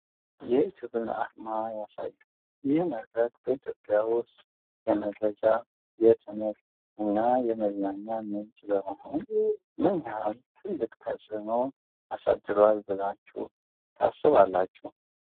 የዩቲዩብን አርማ ያሳያል። ይህ መድረክ በኢትዮጵያ ውስጥ የመረጃ፣ የትምህርት እና የመዝናኛ ምንጭ በመሆን ምን ያህል ትልቅ ተፅዕኖ አሳድሯል ብላችሑ ታስባላችሁ?